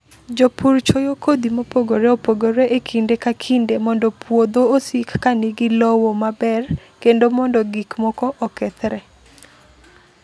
Jopur chwoyo kodhi mopogore opogore e kinde ka kinde mondo puodho osik ka nigi lowo maber kendo mondo gik moko okethre.